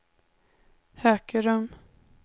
Hökerum